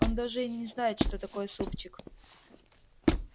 он даже и не знает что такое супчик